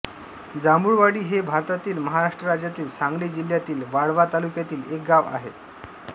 जांभुळवाडी हे भारतातील महाराष्ट्र राज्यातील सांगली जिल्ह्यातील वाळवा तालुक्यातील एक गाव आहे